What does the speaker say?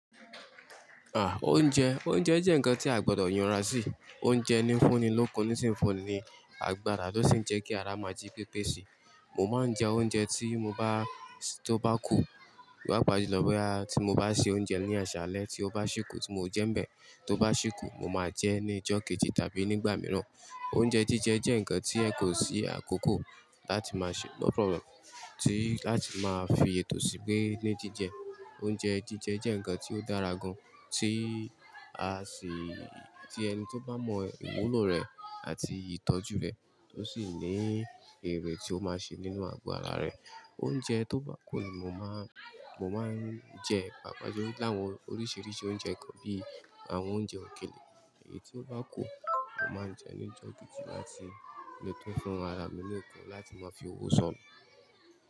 À, oúnjẹ, oúnjẹ jẹ́ ǹkan tí a gbọdọ̀ yànra sí. Oúnjẹ ní fúnni lókun ní sì ń fúnni àgbàrá tó sì ń jẹ́ kí ara máa jí pépé síi. Mo máa ń jẹ oúnjẹ tí mo bá, tó bá kù. Papa julọ boya tí mo bá ṣe oúnjẹ ní àṣálẹ́ tí ó bá ṣé kù tí mo jẹ́ ń bẹ̀, tó bá ṣé kù mo máa jẹẹ́ ní ìjọ́ kejì tàbí nígbà mìíràn. Oúnjẹ jíjẹ jẹ́ ǹkan tí ẹ kò sí àkókò láti máa ṣe, ko problem, tí láti máa fi ètò síi pé ní jíjẹ. Oúnjẹ jíjẹ jẹ́ ǹkan tí ó dára gan-an tí á sì, tí ẹni tó bá mọ ìwúlò rẹ̀ àti ìtọ́jú rẹ̀ yii oo sì ní erè tí ó máa ṣe nínú àgo ara rẹ̀. Oúnjẹ tó bá kù ni mo má, mo máa ń jẹ ìpàpáńjó láwọn oríṣiríṣi oúnjẹ kan bí i àwọn oúnjẹ òkèlè. Èyí tí ó bá kù, mo máa ń jẹ ní ìjọ́ kejì láti lè tún fún ara mi lokun láti má fi owó sọnù.